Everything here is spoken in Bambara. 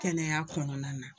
Kɛnɛya kɔnɔna na